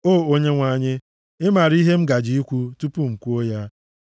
O Onyenwe anyị, ị maara ihe m gaje ikwu tupu m kwuo ya.